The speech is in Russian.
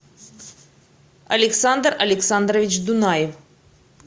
александр александрович дунаев